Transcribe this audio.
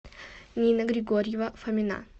нина григорьева фомина